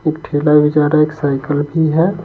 एक ठेला भी जा रहा है एक साइकिल भी है।